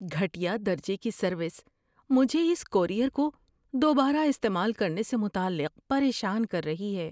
گھٹیا درجے کی سروس مجھے اس کورئیر کو دوبارہ استعمال کرنے سے متعلق پریشان کر رہی ہے۔